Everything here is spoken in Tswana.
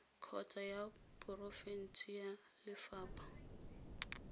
kgotsa ya porofense ya lefapha